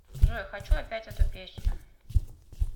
джой хочу опять эту песню